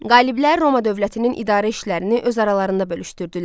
Qaliblər Roma dövlətinin idarə işlərini öz aralarında bölüşdürdülər.